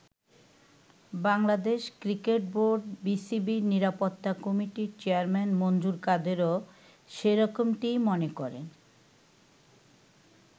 Bangladesh cricket বোর্ড-বিসিবির নিরাপত্তা কমিটির চেয়ারম্যান মনজুর কাদেরও সেরকমটিই মনে করেন।